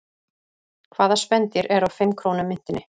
Hvaða spendýr er á fimm krónu myntinni?